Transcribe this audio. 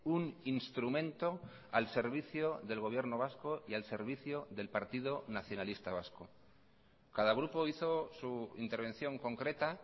un instrumento al servicio del gobierno vasco y al servicio del partido nacionalista vasco cada grupo hizo su intervención concreta